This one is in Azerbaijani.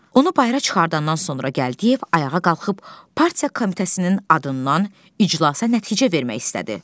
Onu bayıra çıxardandan sonra Gəldiyev ayağa qalxıb partiya komitəsinin adından iclasa nəticə vermək istədi.